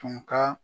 Tun ka